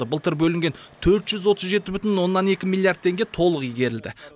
былтыр бөлінген төрт жүз отыз жеті бүтін оннан екі миллиард теңге толық игерілді